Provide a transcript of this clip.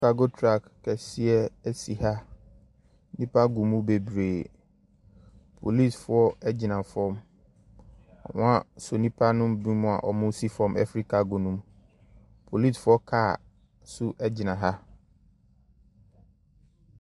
Kago truk kɛseɛ asi ha nnipa gumm bebree polisifoɔ agyina fam wɔn asɔ nnipa binom a wɔnmmo si fam ɛfi kago no mu polisifoɔ kaa nso agyina ha.